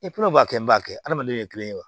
b'a kɛ n b'a kɛ adamadenw ye kelen ye wa